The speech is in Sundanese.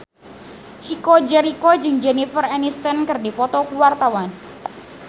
Chico Jericho jeung Jennifer Aniston keur dipoto ku wartawan